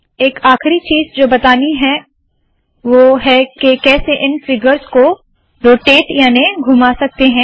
एक आखरी चीज़ जो बतानी है है वोह है के कैसे इन फिगर्स को रोटेट याने के घुमा सकते है